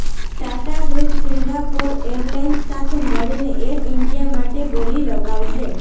Tata group Singapore airlines સાથે મળીને air India માટે બોલી લગાવશે